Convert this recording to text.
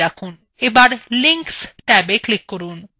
এখন লিংকস ট্যাবে click করুন